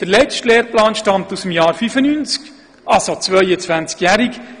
Der letzte Lehrplan stammt aus dem Jahr 1995, er ist demnach 22 Jahre alt.